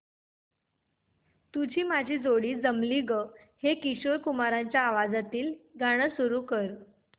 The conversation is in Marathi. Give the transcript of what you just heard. तुझी माझी जोडी जमली गं हे किशोर कुमारांच्या आवाजातील गाणं सुरू कर